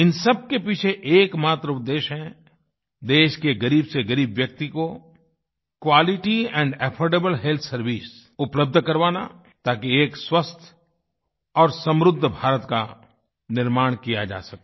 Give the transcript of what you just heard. इन सब के पीछे एक मात्र उद्देश्य है देश के ग़रीब से ग़रीब व्यक्ति को quality and affordable health service उपलब्ध करवाना ताकि एक स्वस्थ और समृद्ध भारत का निर्माण किया जा सके